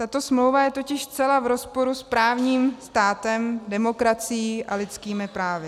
Tato smlouva je totiž zcela v rozporu s právním státem, demokracií a lidskými právy.